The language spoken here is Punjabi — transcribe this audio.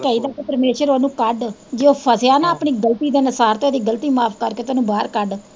ਇਹ ਕਹੀਦਾ ਕਿ ਪਰਮੇਸ਼ਵਰ ਉਨੂੰ ਕੱਢ, ਜੇ ਉਹ ਫਸਿਆ ਨਾ ਆਪਣੀ ਗਲਤੀ ਦੇ ਅਨੁਸਾਰ ਤੇ ਉਦੀ ਗਲਤੀ ਮਾਫ ਕਰਕੇ ਉਨੂੰ ਬਾਹਰ ਕੱਢ।